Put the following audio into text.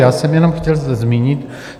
Já jsem jenom chtěl zmínit.